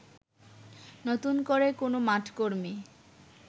নতুন করে কোন মাঠকর্মী